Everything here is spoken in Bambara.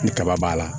Ni kaba b'a la